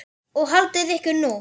Og haldið ykkur nú.